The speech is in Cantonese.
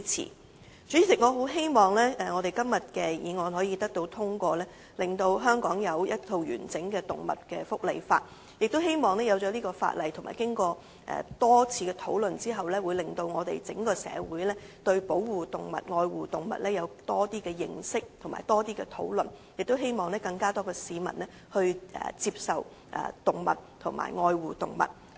代理主席，我很希望今天這項議案可以獲得通過，令香港有一套完整的動物福利法例，亦希望在制定有關的法例和經過多次討論後，會令整個社會對保護和愛護動物有更多的認識和討論，亦希望有更多市民接受和愛護動物。